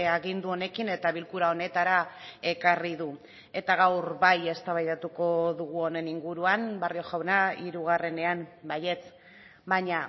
agindu honekin eta bilkura honetara ekarri du eta gaur bai eztabaidatuko dugu honen inguruan barrio jauna hirugarrenean baietz baina